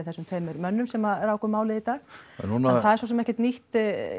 þessum tveim mönnum sem ráku málið í dag en það er svo sem ekkert nýtt